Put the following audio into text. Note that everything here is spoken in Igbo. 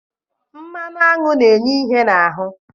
Mmanụ aṅụ na-enye ihe n'ahụ